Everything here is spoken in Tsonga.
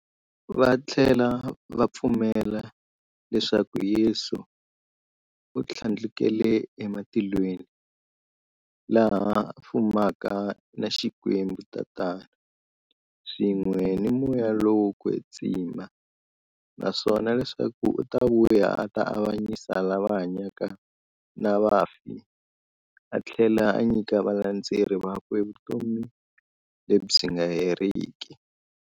Vathlela va pfumela leswaku Yesu u thlandlukele ematilweni, laha a fumaka na Xikwembu-Tatana, swin'we na Moya lowo kwetsima, naswona leswaku u ta vuya a ta avanyisa lava hanyaka na vafi athlela a nyika valandzeri vakwe vutomi lebyi nga heriki.